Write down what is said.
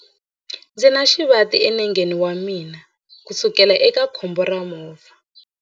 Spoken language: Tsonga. Ndzi na xivati enengeni wa mina kusukela eka khombo ra movha.